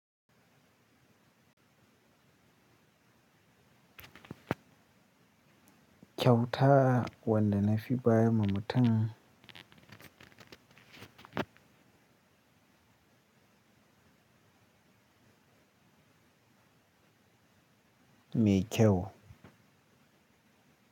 Kyauta wande ne fi bayar ma mutum mai kyau.